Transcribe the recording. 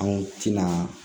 Anw tɛna